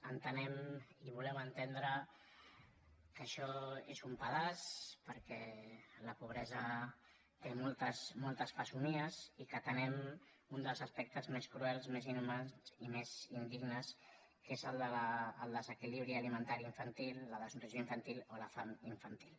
entenem i volem entendre que ai·xò és un pedaç perquè la pobresa té moltes fesomies i que atenem un dels aspectes més cruels més inhu·mans i més indignes que és el desequilibri alimenta·ri infantil la desnutrició infantil o la fam infantil